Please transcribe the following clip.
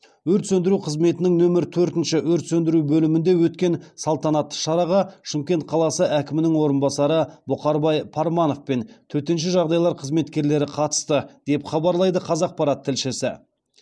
өрт сөндіру қызметінің нөмір төртінші өрт сөндіру бөлімінде өткен салтанатты шараға шымкент қаласы әкімінің орынбасары бұқарбай парманов пен төтенше жағдайлар қызметкерлері қатысты деп хабарлайды қазақпарат тілшісі